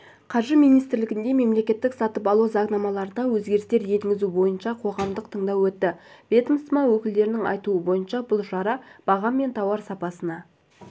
қаржы министрлігінде мемлекеттік сатып алу заңнамаларына өзгерістер енгізу бойынша қоғамдық тыңдау өтті ведомство өкілдерінің айтуынша бұл шара баға мен тауар сапасына